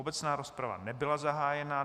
Obecná rozprava nebyla zahájena.